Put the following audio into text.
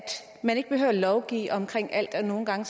man ikke behøver at lovgive om alt og at nogle gange